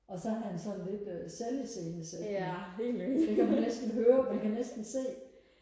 og så er han sådan lidt øh selv iscenesættende det kan man næsten høre man kan næsten se